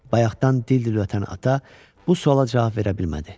Bayaqdan dil-dil ötən ata bu suala cavab verə bilmədi.